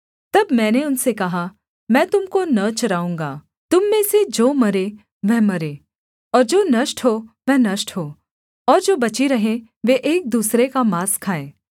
तब मैंने उनसे कहा मैं तुम को न चराऊँगा तुम में से जो मरे वह मरे और जो नष्ट हो वह नष्ट हो और जो बची रहें वे एक दूसरे का माँस खाएँ